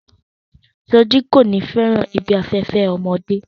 Soji ko ni fẹràn ibi afẹfẹ ọmọdé.